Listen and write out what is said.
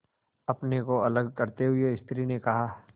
अपने को अलग करते हुए स्त्री ने कहा